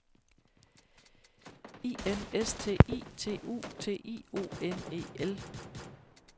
I N S T I T U T I O N E L